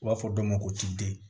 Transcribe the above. U b'a fɔ dɔ ma ko cpd